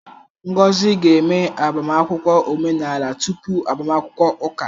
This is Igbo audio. Ngozi ga-eme agbamakwụkwọ omenala tupu agbamakwụkwọ ụka